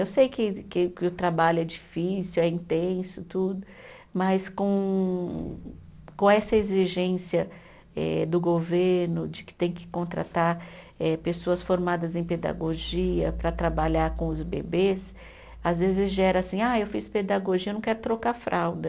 Eu sei que que que o trabalho é difícil, é intenso tudo, mas com, com essa exigência eh do governo de que tem que contratar eh pessoas formadas em pedagogia para trabalhar com os bebês, às vezes gera assim, ah eu fiz pedagogia, eu não quero trocar fralda.